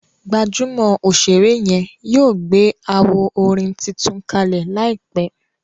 gbajúmò òṣèré yen yíò gbé awo orin títún kalẹ láìpé.